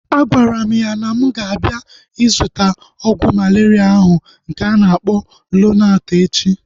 Agwara m ya na mụ ga-abịa ịzụta ọgwụ malaria ahụ nke a na-akpọ Lonart echi